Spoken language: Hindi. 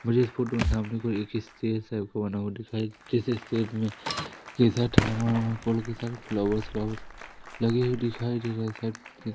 मुझे इस फोटो के सामने कोई एक किस चीज से आपको बना दिखाइ जिस स्टेट में कैसा थर्मा वर्मा कोल के साथ फ्लावर व्लाव्वर लगे हुए दिखाई दे रहें--